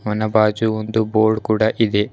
ಅವನ ಬಾಜು ಒಂದು ಬೋರ್ಡ್ ಕೂಡ ಇದೆ.